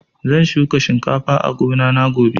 Zan shuka shinkafa a gona na gobe